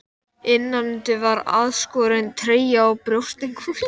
Með bandóða Englendinga á eftir þér.